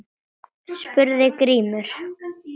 spurði Grímur.